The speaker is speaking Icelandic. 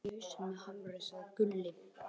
Gunni lamdi þig í hausinn með hamrinum, sagði Gulli.